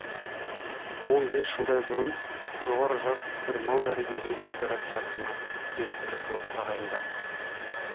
он бес жылдай бұрын жоғары жақ бір мал дәрігерін опера театрына директор қылып тағайындапты